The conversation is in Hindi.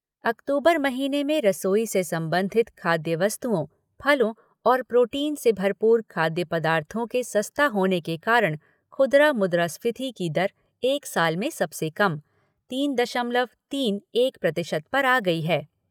अक्तूबर महीने में रसोई से संबंधित खाद्य वस्तुओं, फलों और प्रोटीन से भरपूर खाद्य पदार्थों के सस्ता होने के कारण खुदरा मुद्रास्फीति की दर एक साल में सबसे कम तीन दशमलव तीन एक प्रतिशत पर आ गई है।